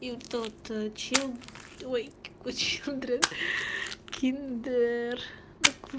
и тот чел твой кучу андрею киндер на круг